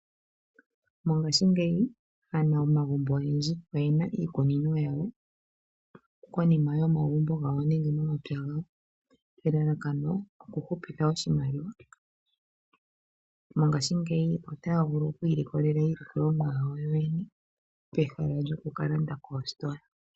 Mongashingeyi aanamagumbo oyendji oyena iikunino konima yomagumbo gawo nenge momapya gawo elalakano okuhupitha oshimaliwa. Mongashingeyi otaya vulu okwiilikolela iilikolomwa yawo yene peha lyokukalanda koositola.